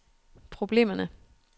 problemerne